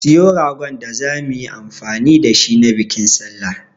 Siyo ragon da zamu yi amfani da shi na bikin sallah.